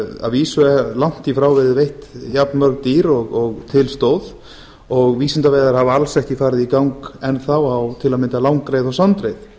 að vísu hafa langt í frá verið veidd jafnmörg dýr og til stóð og vísindaveiðar hafa alls ekki farið í gang enn þá til að mynda á langreyðar og sandreyðar